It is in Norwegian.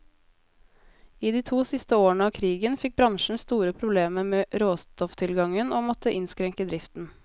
I de to siste årene av krigen fikk bransjen store problemer med råstofftilgangen, og måtte innskrenke driften.